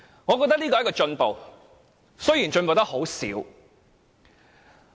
我認為這是進步，儘管進步得很少。